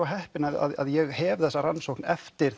heppinn að ég hef þessa rannsókn eftir